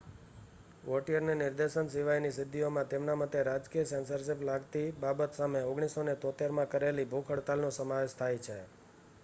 વૉટિયરની નિર્દેશન સિવાયની સિદ્ધિઓમાં તેમના મતે રાજકીય સેન્સરશિપ લાગતી બાબત સામે 1973માં કરેલી ભૂખ હડતાલનો સમાવેશ થાય છે